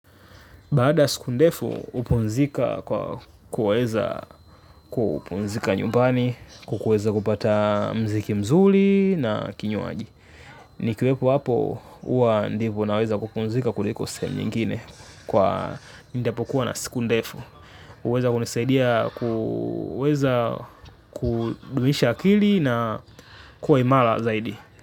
Baada ya siku ndefu upumzika kwa kuweza kupumzika nyumbani, kukuweza kupata mziki mzuli na kinywaji. Nikiwepo hapo uwa ndivo naweza kupumzika kuliko sehemu nyingine nitapokuwa na siku ndefu. Uweza kunisaidia kuweza kudumisha akili na kuwa imala zaidi.